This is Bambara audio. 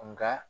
Nka